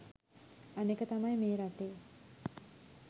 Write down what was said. අනෙක තමයි මේ රටේ